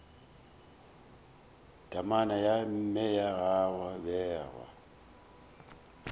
temana ya mme gwa bewa